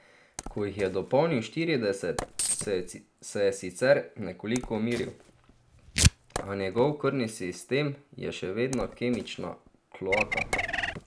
Ko jih je dopolnil štirideset, se je sicer nekoliko umiril, a njegov krvni sistem je še vedno kemična kloaka.